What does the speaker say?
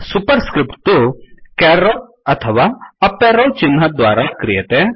super स्क्रिफ्ट् तु caret अथवा up arrow चिह्नद्वारा क्रियते